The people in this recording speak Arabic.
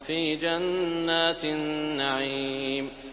فِي جَنَّاتِ النَّعِيمِ